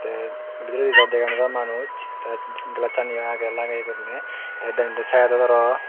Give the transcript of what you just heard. te bidiredi dow dega nojai manuj te gelaccjaniyo agey lageye gurinei te denendi saidot aro.